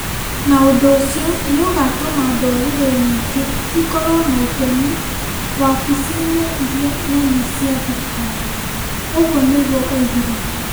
na ũndũ ũcio nĩ ũgatũma ndũrĩrĩ nyingĩ ikorũo na itemi wabici-inĩ iria nene cia thirikari. Ũguo nĩguo oigire.